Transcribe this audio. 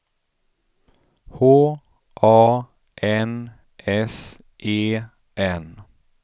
H A N S E N